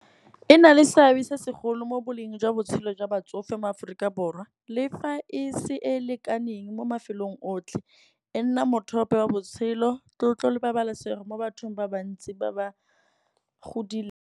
E na le seabe se segolo mo boleng jwa botshelo jwa batsofe mo Aforika Borwa. Le fa e se e e lekaneng mo mafelong otlhe, e nna mothope wa botshelo, tlotlo le pabalesego mo bathong ba bantsi ba ba godileng.